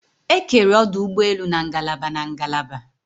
Ekere ọdụ ụgbọelu na ngalaba na ngalaba